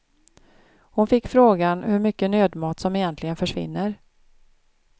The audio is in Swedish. Hon fick frågan hur mycket nödmat som egentligen försvinner.